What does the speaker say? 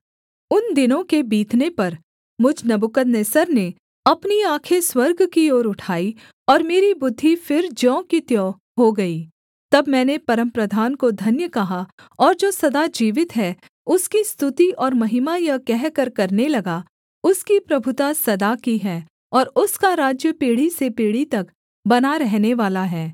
उन दिनों के बीतने पर मुझ नबूकदनेस्सर ने अपनी आँखें स्वर्ग की ओर उठाई और मेरी बुद्धि फिर ज्यों की त्यों हो गई तब मैंने परमप्रधान को धन्य कहा और जो सदा जीवित है उसकी स्तुति और महिमा यह कहकर करने लगा उसकी प्रभुता सदा की है और उसका राज्य पीढ़ी से पीढ़ी तब बना रहनेवाला है